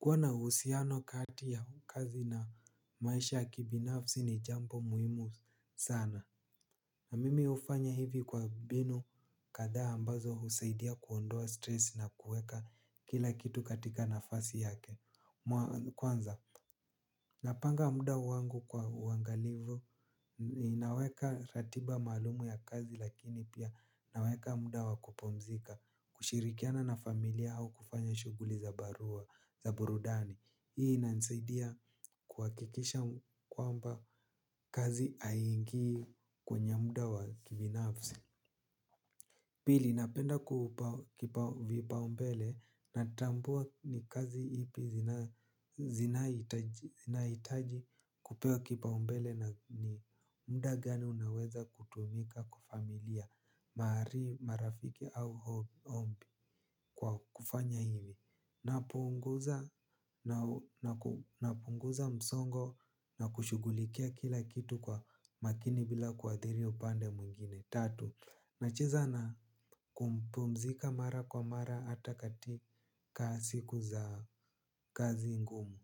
Kwa na uhusiano kati ya kazi na maisha ya kibinafsi ni jambo muhimu sana. Na mimi hufanya hivi kwa binu kathaa ambazo husaidia kuondoa stress na kuweka kila kitu katika nafasi yake. Kwanza, napanga muda wangu kwa uangalivu. Naweka ratiba maalumu ya kazi lakini pia naweka muda wa kupumzika. Kushirikiana na familia au kufanya shughli za barua, za burudani. Hii inanisaidia kuhakikisha kwamba kazi aingii kwenye mda wa kibinafsi. Pili napenda kuupa kipa vipaumbele natambua ni kazi ipi zinaitaji kupewa kipaumbele na ni muda gani unaweza kutumika kwa familia marafiki au ombi kwa kufanya hivi. Napunguza msongo na kushugulikia kila kitu kwa makini bila kuadhiria upande mwingine. Tatu, nacheza na kumpumzika mara kwa mara hata katika siku za kazi ngumu.